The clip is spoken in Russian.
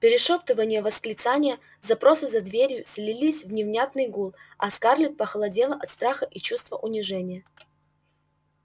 перешёптывания восклицания запросы за дверью слились в невнятный гул а скарлетт похолодела от страха и чувства унижения